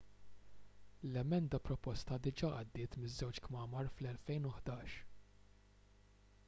l-emenda proposta diġà għaddiet miż-żewġ kmamar fl-2011